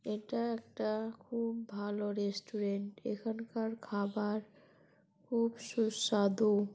এটা একটা খুব ভালো রেস্টুরেন্ট এখানকার খাবার খুব সুস্বাদু ।